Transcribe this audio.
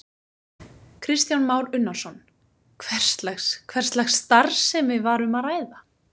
Kristján Már Unnarsson: Hvers lags, hvers lags starfsemi var um að ræða?